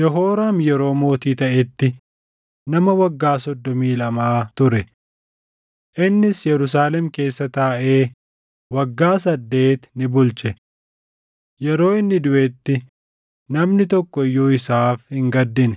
Yehooraam yeroo mootii taʼetti nama waggaa soddomii lamaa ture. Innis Yerusaalem keessa taaʼee waggaa saddeet ni bulche. Yeroo inni duʼetti namni tokko iyyuu isaaf hin gaddine;